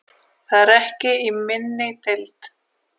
Það er ekki í minni deild.